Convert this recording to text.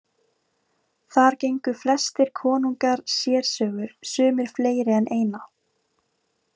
Þar fengu flestir konungar sérsögur, sumir fleiri en eina.